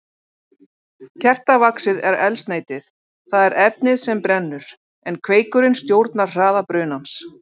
Kertavaxið er eldsneytið, það er efnið sem brennur, en kveikurinn stjórnar hraða brunans.